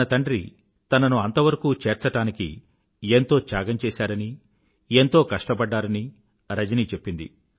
తన తండ్రి తనను అంతవరకూ చేర్చడానికి ఎంతో త్యాగం చేశారనీ ఎంతో కష్టపడ్డారని రజని చెప్పింది